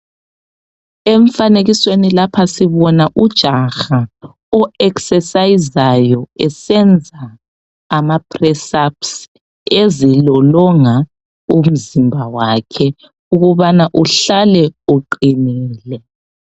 Emfanekisweni lapha sibona ujaha oexercisayo esenza amapressups ezilolonga umzimba wakhe ukubana uhlale uqinile.